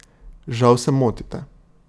Žal se motite.